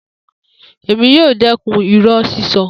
Emi yoo dẹkun irọ sisọ.